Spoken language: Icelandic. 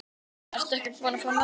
Ertu ekkert búin að fá nóg?